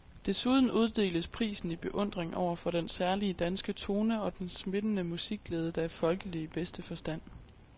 Desuden uddeles prisen i beundring over for den særlige danske tone og den smittende musikglæde, der er folkelig i bedste forstand.